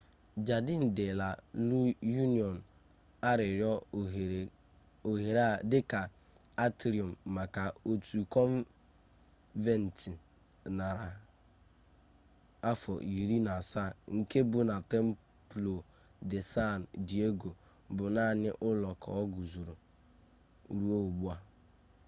jardin de la union a rụrụ ohere a dịka atrium maka otu kọnventị narị afọ iri na asaa nke bụ na templo de san diego bụ naanị ụlọ ka guzoro ruo ugbu a